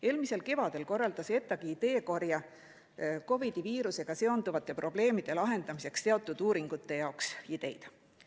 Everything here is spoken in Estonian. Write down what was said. Eelmisel kevadel korraldas ETAg ideekorje COVID‑i viirusega seonduvate probleemide lahendamiseks, korjati teatud uuringute jaoks ideid.